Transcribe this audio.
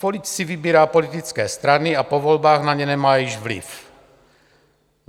Politik si vybírá politické strany a po volbách na ně nemá již vliv.